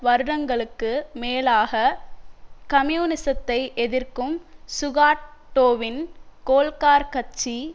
வருடங்களுக்கு மேலாக கம்யூனிசத்தை எதிர்க்கும் சுகாட்டோவின் கோல்க்கார் கட்சி